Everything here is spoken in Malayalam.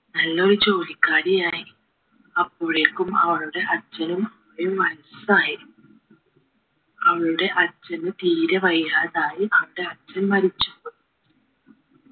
നല്ലൊരു ജോലിക്കാരിയായി അപ്പോഴേക്കും അച്ഛനും അമ്മയും വയസ്സായി അവളുടെ അച്ഛന് തീരെ വയ്യാതായി അത് അച്ഛൻ മരിച്ചു പോയി